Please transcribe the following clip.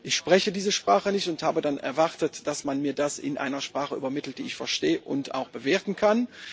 Ich spreche diese Sprache nicht und habe dann erwartet, dass man mir das in einer Sprache übermittelt, die ich verstehe und auch bewerten kann.